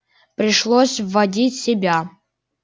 пришлось вводить себя